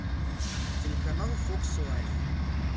телеканал фокс лайф